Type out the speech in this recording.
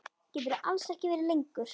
Geturðu alls ekki verið lengur?